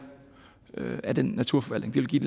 af den naturforvaltning det vil give